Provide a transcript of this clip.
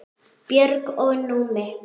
Björg og Númi.